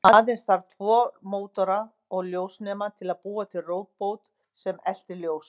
Aðeins þarf tvo mótora og ljósnema til að búa til róbot sem eltir ljós.